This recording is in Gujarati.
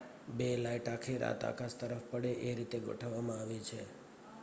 બે લાઈટ આખી રાત આકાશ તરફ પડે એ રીતે ગોઠવવામાં આવી છે